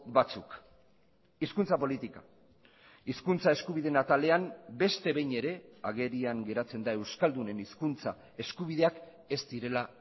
batzuk hizkuntza politika hizkuntza eskubideen atalean beste behin ere agerian geratzen da euskaldunen hizkuntza eskubideak ez direla